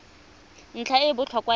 ntlha e e botlhokwa ya